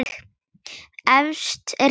Efst er hjálmur með hrúti.